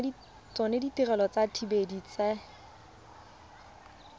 tsona ditirelo tsa dithibedi tse